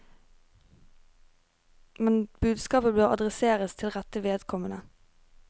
Men budskapet bør adresseres til rette vedkommende.